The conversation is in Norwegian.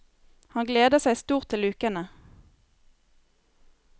Han gleder seg stort til ukene.